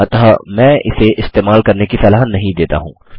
अतः मैं इसे इस्तेमाल करने की सलाह नहीं देता हूँ